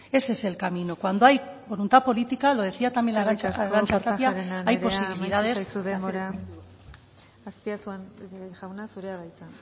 ese es el camino cuando hay voluntad política lo decía también arantxa tapia hay posibilidades eskerrik asko kortajarena andrea amaitu zaizu denbora azpiazu jauna zurea da hitza